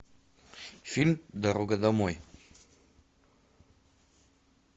фильм дорога домой